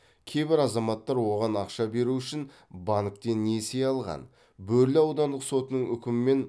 кейбір азаматтар оған ақша беру үшін банктен несие алған бөрлі аудандық сотының үкімімен